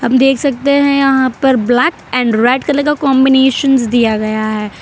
हम देख सकते हैं यहां ब्लैक एंड रेड कलर का कॉम्बिनेशंस दिया गया है।